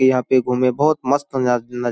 ये यहाँ पे घुमे बहुत मस्त नजा नज --